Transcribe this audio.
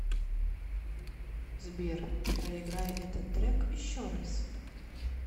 сбер проиграй этот трек еще раз